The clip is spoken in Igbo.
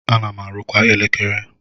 Ana m arụkwa elekere.